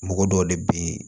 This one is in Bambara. Mɔgɔ dɔw de bɛ ye